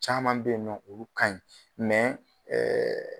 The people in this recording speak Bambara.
Caman bɛ ye nɔ olu ka ɲi